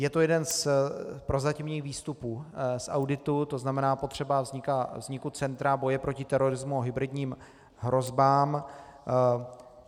Je to jeden z prozatímních výstupů z auditu, to znamená, potřeba vzniku centra boje proti terorismu a hybridním hrozbám.